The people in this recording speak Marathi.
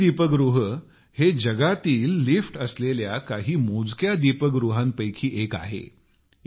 चेन्नई दीपगृह हे जगातील लिफ्ट असलेल्या काही मोजक्या दीपगृहांपैकी एक आहे